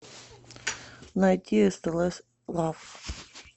найти стс лав